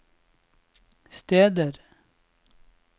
steder